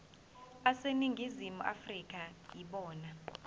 aseningizimu afrika yibona